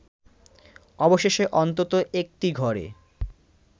অবশেষে অন্তত একটি ঘরে